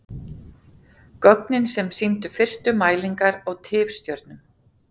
Gögnin sem sýndu fyrstu mælingar á tifstjörnum.